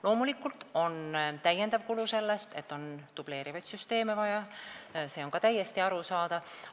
Loomulikult tekib täiendav kulu sellest, et on vaja dubleerivaid süsteeme, see on ka täiesti arusaadav.